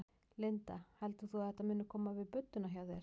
Linda: Heldur þú að þetta muni koma við budduna hjá þér?